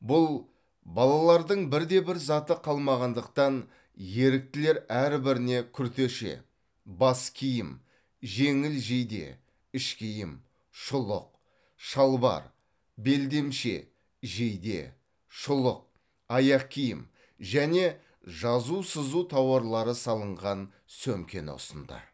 бұл балалардың бірде бір заты қалмағандықтан еріктілер әрбіріне күртеше бас киім жеңіл жейде іш киім шұлық шалбар белдемше жейде шұлық аяқ киім және жазу сызу тауарлары салынған сөмкені ұсынды